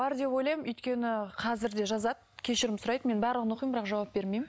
бар деп ойлаймын өйткені қазір де жазады кешірім сұрайды мен барлығын оқимын бірақ жауап бермеймін